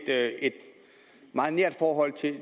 meget nært forhold til